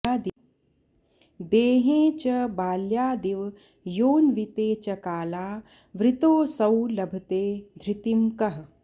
देहे च बाल्यादिवयोऽन्विते च काला वृतोऽसौ लभते धृतिं कः